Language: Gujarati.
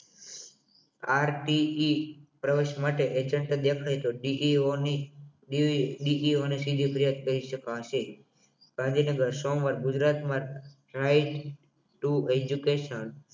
RTE પ્રવેશ માટે એક એજંત્ત દેખાય તો DEO કહી શકાશે કારણ કે સોમવાર ગુજરાતમાં એજ્યુકેશન right to education